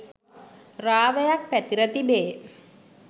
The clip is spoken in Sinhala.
රාවයක් පැතිර තිබේ.